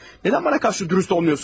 Nədən mənə qarşı dürüst olmursunuz?